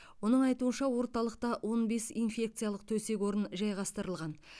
оның айтуынша орталықта он бес инфекциялық төсек орын жайғастырылған